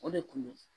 O de kun do